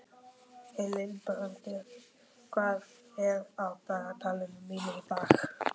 Hildibrandur, hvað er á dagatalinu mínu í dag?